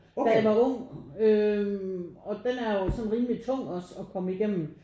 Da jeg var ung øh og den er jo sådan rimelig tung også at komme igennem